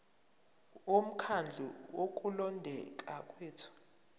bomkhandlu wokulondeka kwethu